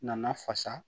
Nana fasa